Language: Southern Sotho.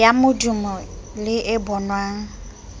ya modumo le e bonwang